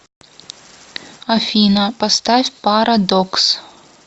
афина поставь пара докс